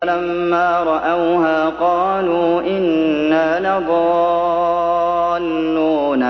فَلَمَّا رَأَوْهَا قَالُوا إِنَّا لَضَالُّونَ